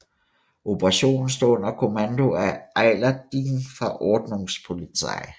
Operationen stod under kommando af Eilert Dieken fra Ordnungspolizei